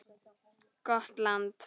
Gott land.